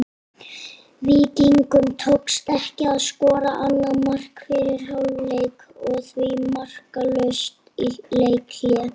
Víkingum tókst ekki að skora annað mark fyrir hálfleik og því markalaust í leikhléi.